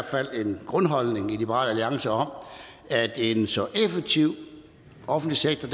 fald en grundholdning i liberal alliance om at en så effektiv offentlig sektor